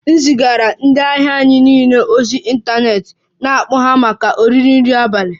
M zigara ndị ahịa anyị niile ozi ịntanetị na-akpọ ha maka oriri nri abalị